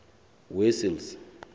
wessels